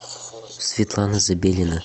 светлана забелина